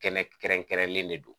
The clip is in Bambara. Kɛnɛ kɛrɛnkɛrɛnnen de don.